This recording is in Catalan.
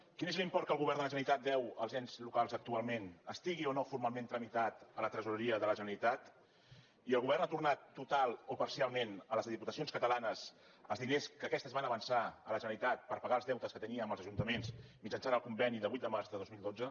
quin és l’import que el govern de la generalitat deu als ens locals actualment estigui o no formalment tramitat a la tresoreria de la generalitat i el govern ha tornat totalment o parcialment a les diputacions catalanes els diners que aquestes van avançar a la generalitat per pagar els deutes que tenia amb els ajuntaments mitjançant el conveni de vuit de març de dos mil dotze